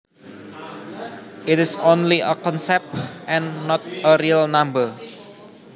It is only a concept and not a real number